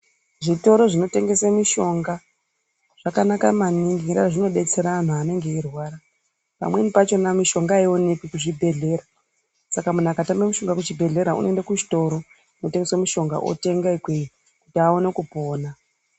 Zvitoro zvino tengese mishonga zvakanaka maningi nge nyaya yekuti zvino detsera anhu anenge eyi rwara pamweni pachona mishonga ayi onekwi ku zvibhedhlera saka munhu aka tame mushonga ku chibhedhlera ano enda ku chitoro kuno tengeswa mushonga otenga ikweyo kuti awone kupona.